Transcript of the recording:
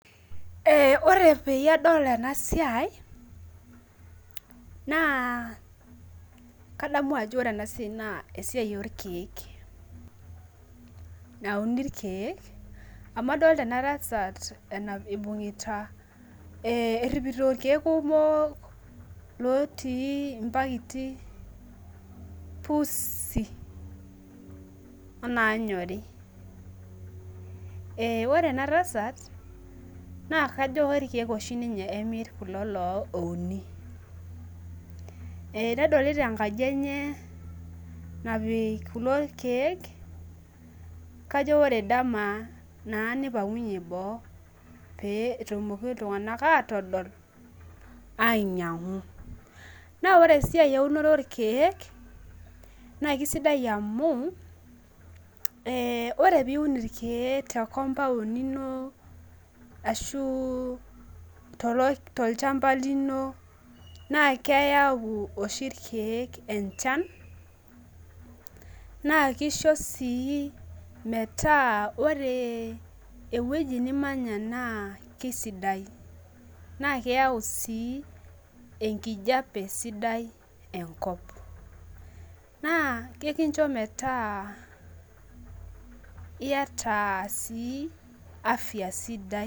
Ore peyie adol enasiai na kadamu ajo ore enasiai na esiai orkiek nauni irkiek amu adolta entasat einunguta eripito irkiek kumok otii mpaketi otii nkardasini pusi onaanyori ore enatasat na kajo irkiek emir loshi ouni ekedolita enkaji enye natuuno irkiek kajo ore dama nipangunye boo petumokini atodol ainyangu na ore esiai eunoto orkiek na kesidai amu ore pium irkiek ashu tolchamba lino na keyau oshi irkiek enchan na kisho si metaa ore ewoi nimanya na kesidai na keyau si enkijape sidai enkop na ekincho metaa iyata sii afya sidai.